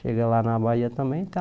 Chega lá na Bahia também, está